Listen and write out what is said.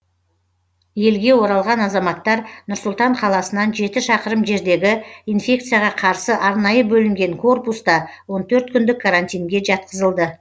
елге оралған азаматтар нұр сұлтан қаласынан жеті шақырым жердегі инфекцияға қарсы арнайы бөлінген корпуста он төрт күндік карантинге жатқызылды